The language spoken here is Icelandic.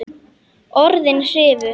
Orðin hrifu.